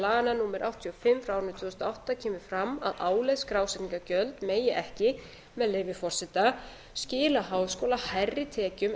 laganna númer áttatíu og fimm tvö þúsund og átta kemur fram að álögð skrásetningargjöld megi ekki með leyfi forseta skila háskóla hærri tekjum en